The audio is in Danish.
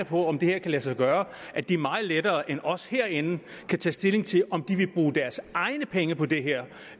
på om det her kan lade sig gøre at de meget lettere end os herinde kan tage stilling til om de vil bruge deres egne penge på det her